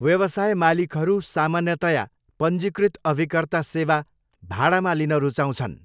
व्यवसाय मालिकहरू सामान्यतया पञ्जीकृत अभिकर्ता सेवा भाडामा लिन रुचाउँछन्।